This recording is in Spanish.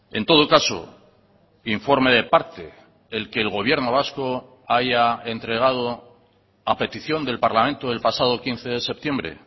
en todo caso informe de parte el que el gobierno vasco haya entregado a petición del parlamento del pasado quince de septiembre